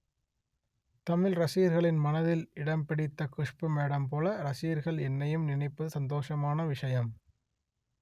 தமிழ் ரசிகர்களின் மனதில் இடம் பிடித்த குஷ்பு மேடம் போல ரசிகர்கள் என்னையும் நினைப்பது சந்தோஷமான விஷயம்